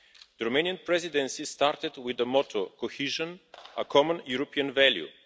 The Romanian Presidency started with the motto cohesion, a common European value'.